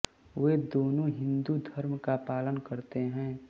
वे दोनों हिंदू धर्म का पालन करते हैं